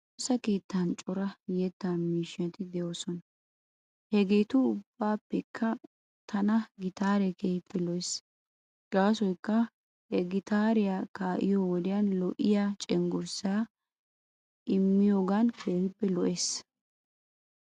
Nu woosa keettan cora yeta miishati de'oosona. Hegeetu ubbaapekka tana gitaaree keehippe lo'es. Gaasoykka he gitaariya kaa'iyo wodiyan lo'iyaa cenggursaa immiyoogan keehippe lo'es.